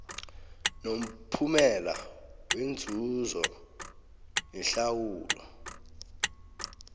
nomphumela wenzuzo nehlawulo